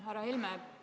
Härra Helme!